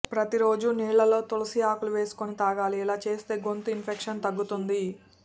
ప్రతీరోజు నీళ్లలో తులసి ఆకులు వేసుకుని తాగాలి ఇలా చేస్తే గొంతు ఇన్ఫెక్షన్ తగ్గుతుంది